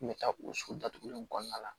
N kun bɛ taa o sugu datugulen in kɔnɔna la